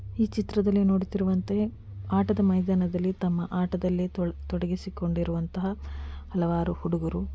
ಈ ಚಿತ್ರದಲ್ಲಿ ನೋಡುತ್ತಿರುವಂತೆ ಆಟದ ಮೈದಾನದಲ್ಲಿ ತಮ್ಮ ಆಟದಲ್ಲೇ ತೊಡಗಿಸಿಕೊಂಡಿರುವಂತಹ ಹಲವಾರು ಹುಡುಗರು--